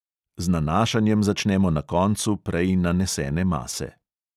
Z nanašanjem začnemo na koncu prej nanesene mase.